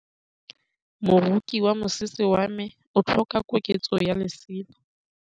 Moroki wa mosese wa me o tlhoka koketsô ya lesela.